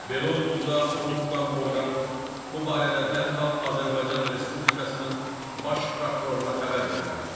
Belə olduqda onu tutan orqan bu barədə dərhal Azərbaycan Respublikasının Baş prokuroruna xəbər verməlidir.